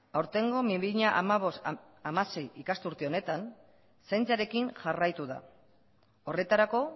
aurtengo bi mila hamabost bi mila hamasei ikasturte honetan zaintzarekin jarraitu da horretarako